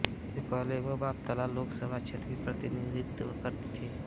इससे पहले वो बापतला लोक सभा क्षेत्र का प्रतिनिधित्व करती थीं